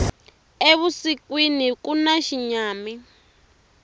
evusikwini kuna xinyami